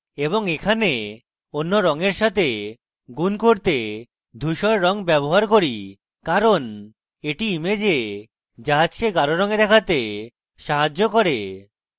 আমি এখানে অন্য রঙের সাথে গুন করতে ধুসর রঙ ব্যবহার করি কারণ এটি image জাহাজকে গাঢ় রঙে দেখাতে সাহায্য করে